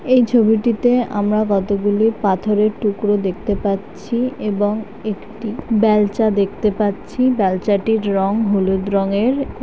এই ছবিটিতে আমরা কতগুলো পাথরের টুকরো দেখতে পাচ্ছি এবং একটি বেলচা দেখতে পাচ্ছি বেলচাটির রং হলুদ রঙের এবং--